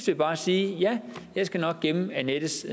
jeg bare sige ja jeg skal nok gemme annettes